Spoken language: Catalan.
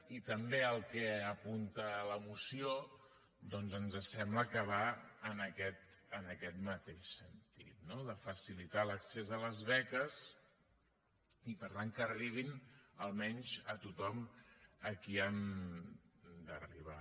i també el que apunta la moció doncs ens sembla que va en aquest mateix sentit no de facilitar l’accés a les beques i per tant que arribin almenys a tothom a qui han d’arribar